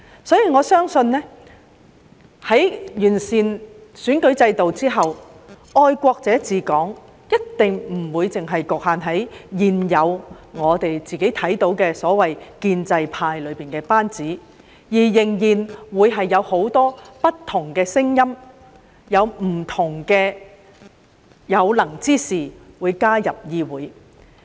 所以，我相信在完善選舉制度之後，"愛國者治港"一定不會只局限於現有所謂的建制派班子，而且仍然會有很多不同的聲音、有不同的有能之士加入議會。